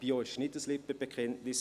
Bio ist kein Lippenbekenntnis.